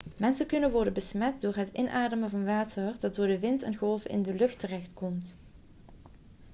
mensen kunnen worden besmet door het inademen van water dat door de wind en golven in de lucht terechtkomt